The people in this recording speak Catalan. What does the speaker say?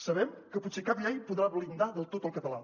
sabem que potser cap llei podrà blindar del tot el català